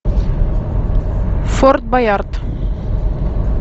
форт баярд